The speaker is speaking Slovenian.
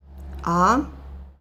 A?